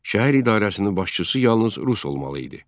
Şəhər idarəsinin başçısı yalnız rus olmalı idi.